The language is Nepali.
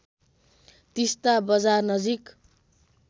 तिस्‍ता बजार नजिक